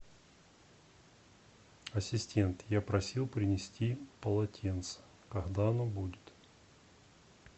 ассистент я просил принести полотенце когда оно будет